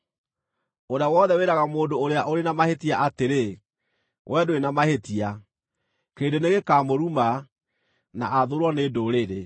Ũrĩa wothe wĩraga mũndũ ũrĩa ũrĩ na mahĩtia atĩrĩ, “Wee ndũrĩ na mahĩtia,” kĩrĩndĩ nĩgĩkamũruma, na athũũrwo nĩ ndũrĩrĩ.